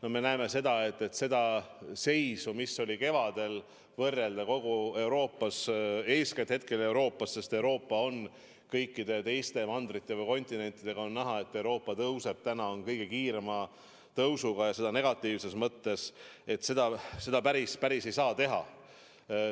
Kui me tahame võrrelda seisu, mis oli kevadel kogu Euroopas, praeguse seisuga Euroopas – eeskätt Euroopas, sest kõikide teiste mandrite või kontinentidega võrreldes on näha, et Euroopa näitajad tõusevad, need on kõige kiirema tõusuga, ja seda negatiivses mõttes –, siis seda päris ei saa teha.